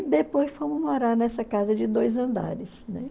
E depois fomos morar nessa casa de dois andares, né?